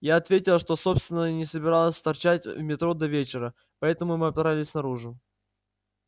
я ответила что собственно и не собиралась торчать в метро до вечера поэтому мы отправились наружу